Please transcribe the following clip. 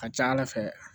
A ka ca ala fɛ